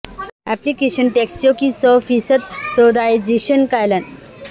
ایپلی کیشن ٹیکسیوں کی سو فیصد سعودائزیشن کا اعلان